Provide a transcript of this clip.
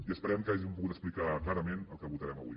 i esperem que hàgim pogut explicar clarament el que votarem avui